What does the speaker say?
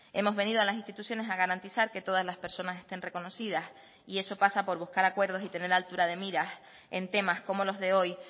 hemos venido a las instituciones a garantizar que todas las personas estén reconocidas y eso pasa por buscar acuerdos y tener altura de miras en temas como los de hoy